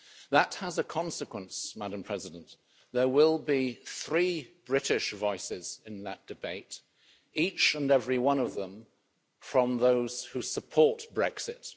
That has a consequence, Madam President. There will be three British voices in that debate, each and every one of them from those who support Brexit.